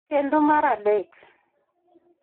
kendo mar adek.